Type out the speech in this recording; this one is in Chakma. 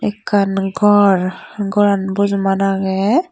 ekan gor goran bojoman agey.